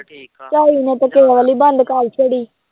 ਝਾਈ ਨੇ ਤਾਂ ਬੰਦ ਕਰ ਛੱਡੀ